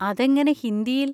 അതെങ്ങനെ ഹിന്ദിയിൽ?